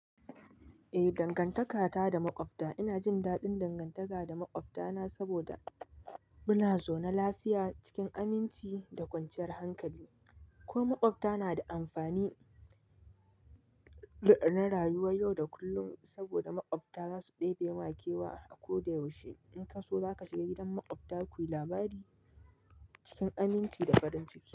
Eh, dangantaka ta da maƙwabta ina jin daɗin dangantaka da maƙwabta na saboda muna zaune lafiya cikin aminci da kwanciyar hankali. Ko maƙwabta na da amfani ga rayuwa yau da kullum saboda maƙwabta za su ɗebe ma kewa a ko da yaushe. In ka so za ka shiga gidan maƙwabta kuyi labari cikin aminci da farin ciki.